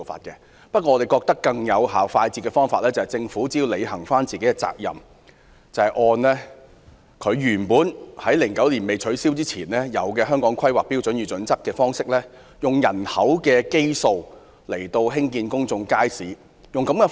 然而，我們認為更快捷有效的方法，是政府履行應有責任，恢復2009年以前的做法，採用《香港規劃標準與準則》按人口基數興建公眾街市。